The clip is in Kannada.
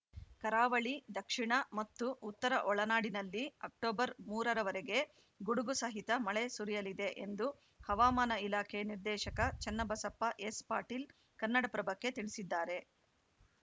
ಕರಾವಳಿ ದಕ್ಷಿಣ ಮತ್ತು ಉತ್ತರ ಒಳನಾಡಿನಲ್ಲಿ ಅಕ್ಟೋಬರ್ ಮೂರರವರೆಗೆ ಗುಡುಗು ಸಹಿತ ಮಳೆ ಸುರಿಯಲಿದೆ ಎಂದು ಹವಾಮಾನ ಇಲಾಖೆ ನಿರ್ದೇಶಕ ಚನ್ನಬಸಪ್ಪ ಎಸ್‌ ಪಾಟೀಲ್‌ ಕನ್ನಡಪ್ರಭಕ್ಕೆ ತಿಳಿಸಿದ್ದಾರೆ